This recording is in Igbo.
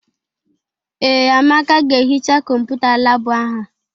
Ee, Amaka ga-ehicha Kọmputa laabụ ahụ.